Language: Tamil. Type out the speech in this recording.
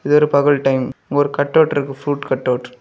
இது ஒரு பகல் டைம் இங்கொரு கட்டவுட் இருக்கு ஃப்ரூட் கட்டவுட் .